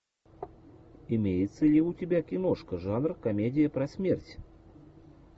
имеется ли у тебя киношка жанр комедия про смерть